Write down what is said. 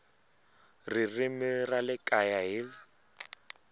ririmi ra le kaya hl